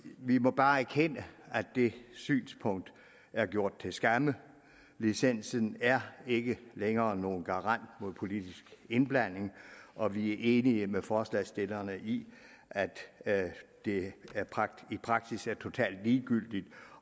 vi må bare erkende at det synspunkt er gjort til skamme licensen er ikke længere nogen garant mod politisk indblanding og vi er enige med forslagsstillerne i at at det i praksis er totalt ligegyldigt